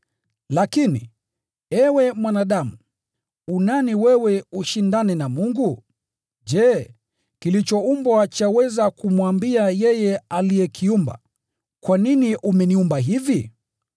Lakini, ewe mwanadamu, u nani wewe ushindane na Mungu? “Je, kilichoumbwa chaweza kumwambia yeye aliyekiumba, ‘Kwa nini umeniumba hivi?’ ”